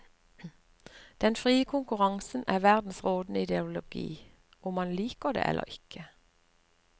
Den frie konkurransen er verdens rådende ideologi, om man liker det eller ikke.